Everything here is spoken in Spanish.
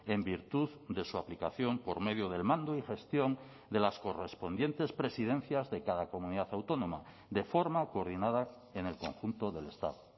en virtud de su aplicación por medio del mando y gestión de las correspondientes presidencias de cada comunidad autónoma de forma coordinada en el conjunto del estado